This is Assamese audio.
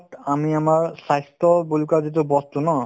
আমি আমাৰ স্বাস্থ্য বোল কা যিটো বস্তু ন